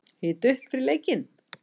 Hita upp fyrir leikinn?